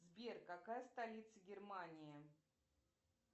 сбер какая столица германии